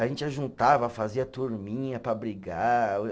A gente ajuntava, fazia turminha para brigar.